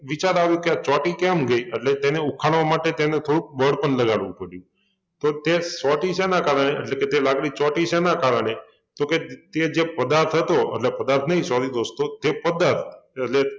વિચાર આવ્યુ કે આ ચોંટી કેમ ગઈ? એટલે તેને ઉખાડવા માટે તેને થોડુક બળ પણ લગાડવુ પડ્યું તો તે ચોંટી શેના કારણે? એટલે કે તે લાકડી ચોંટી શેના કારણે? તો કે તે જે પદાર્થ હતો એટલે પદાર્થ નહિ sorry દોસ્તો તે પદ્દર એટલે